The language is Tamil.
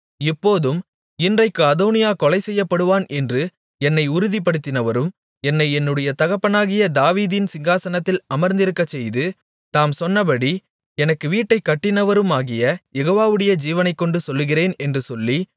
இப்போதும் இன்றைக்கு அதோனியா கொலை செய்யப்படுவான் என்று என்னை உறுதிப்படுத்தினவரும் என்னை என்னுடைய தகப்பனாகிய தாவீதின் சிங்காசனத்தில் அமர்ந்திருக்கச்செய்து தாம் சொன்னபடி எனக்கு வீட்டைக் கட்டினவருமாகிய யெகோவாவுடைய ஜீவனைக்கொண்டு சொல்லுகிறேன் என்று சொல்லி